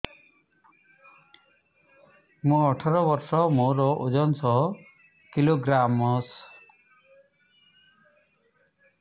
ମୁଁ ଅଠର ବର୍ଷ ମୋର ଓଜନ ଶହ କିଲୋଗ୍ରାମସ